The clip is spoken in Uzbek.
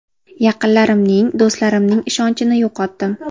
Yaqinlarimning, do‘stlarimning ishonchini yo‘qotdim.